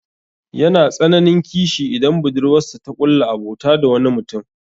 Yana tsananin kishi idan budurwarsa ta ƙulla abota da wani mutum.